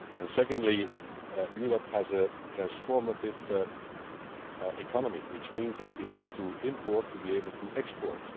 Secondly, Europe has a transformative economy, which means that we have to import to be able to export.